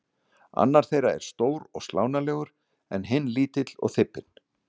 Annar þeirra er stór og slánalegur en hinn lítill og þybbinn.